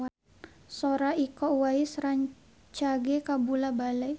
Sora Iko Uwais rancage kabula-bale